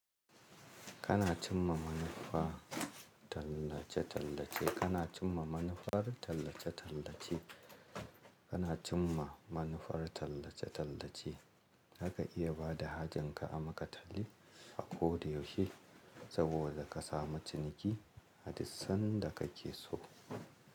Kana cimma manufa tallace-tallace, kana cimma manufar tallace-tallace, kana cimma manufar tallace-tallace. Haka iya bada hajan ka a makatalle a koda yaushe saboda kasamu ciniki a duk sanda kake so.